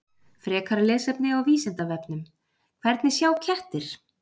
Frekara lesefni á Vísindavefnum: Hvernig sjá kettir?